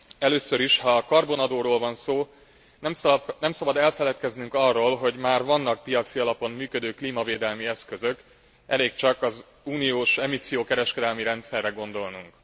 Először is, ha a karbonadóról van szó, nem szabad elfeledkeznünk arról, hogy már vannak piaci alapon működő klímavédelmi eszközök, elég csak az Unió emissziókereskedelmi rendszerre gondolnunk.